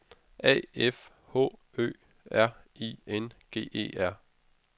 A F H Ø R I N G E R